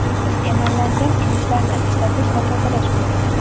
Emallangan idishlarni ishlatish va tozalash qoidalari.